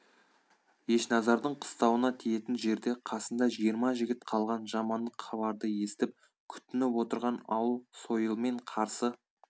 ешназардың қыстауына тиетін жерде қасында жиырма жігіт қалған жамандық хабарды естіп күтініп отырған ауыл сойылмен қарсы